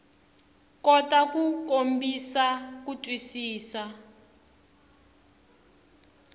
kota ku kombisa ku twisisa